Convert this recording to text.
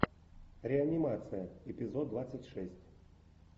реанимация эпизод двадцать шесть